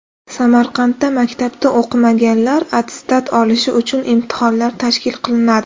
Samarqandda maktabda o‘qimaganlar attestat olishi uchun imtihonlar tashkil qilinadi.